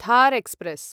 Thar express